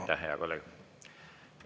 Aitäh, hea kolleeg!